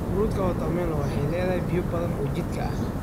Fruutka watermelon waxay leedahay biyo badan oo jidhka ah.